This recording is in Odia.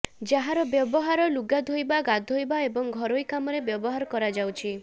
ଯାହାର ବ୍ୟବହାର ଲୁଗାଧୋଇବା ଗାଧୋଇବା ଏବଂ ଘରୋଇ କାମରେ ବ୍ୟବହାର କରାଯାଉଛି